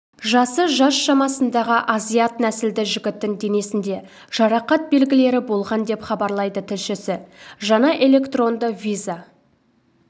жасы жас шамасындағы азиат нәсілді жігіттің денесінде жарақат белгілері болған деп хабарлайды тілшісі жаңа электронды виза